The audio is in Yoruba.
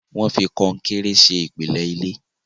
wón fí Kọnkéré ṣe ìpìlẹ ilé